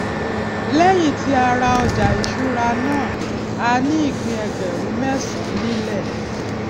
lẹyìn tí a rà ọjà ìṣúra náà a ní ìpín ẹgbẹrún mẹsànán nílẹ